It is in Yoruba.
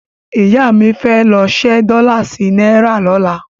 Ìyá mi fẹ́ lọ ṣẹ́ dọ́là sí náírà lọ́la.